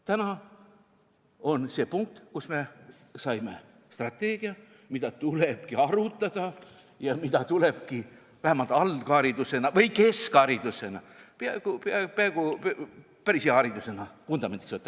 Täna on see punkt, kus me saime strateegia, mida tulebki arutada ja mida tulebki vähemalt algharidusena või keskharidusena, peaaegu päris hea haridusena vundamendiks võtta.